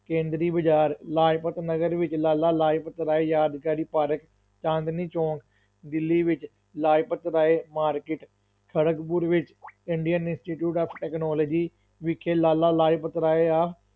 ਕੇਂਦਰੀ ਬਾਜ਼ਾਰ, ਲਾਜਪਤ ਨਗਰ ਵਿੱਚ ਲਾਲਾ ਲਾਜਪਤ ਰਾਏ ਯਾਦਗਾਰੀ ਪਾਰਕ, ਚਾਂਦਨੀ ਚੌਕ, ਦਿੱਲੀ ਵਿੱਚ ਲਾਜਪਤ ਰਾਏ market ਖੜਗਪੁਰ ਵਿੱਚ indian institute of technology ਵਿਖੇ ਲਾਲਾ ਲਾਜਪਤ ਰਾਏ ਆ,